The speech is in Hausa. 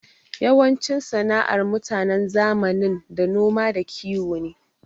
Yawancin sana'ar mutanen zamanin da noma da kiwo ne.